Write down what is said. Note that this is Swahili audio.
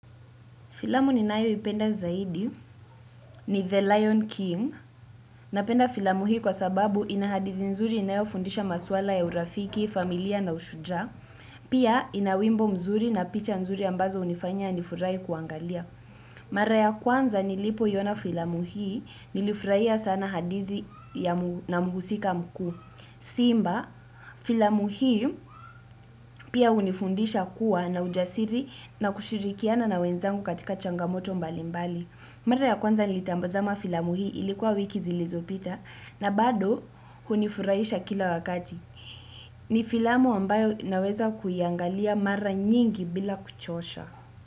Filamu ninayo ipenda zaidi ni The Lion King. Napenda filamu hii kwa sababu inahadithi nzuri inayo fundisha maswala ya urafiki, familia na ushujaa. Pia inawimbo mzuri na picha nzuri ambazo unifanya ya nifurai kuangalia. Mara ya kwanza nilipoiyona filamu hii nilifuraia sana hadithi na muhusika mkuu. Simba filamu hii pia hunifundisha kuwa na ujasiri na kushirikiana na wenzangu katika changamoto mbalimbali. Mara ya kwanza nilitambazama filamu hii ilikuwa wiki zilizopita na bado hunifurahisha kila wakati. Ni filamu ambayo naweza kuiangalia mara nyingi bila kuchosha.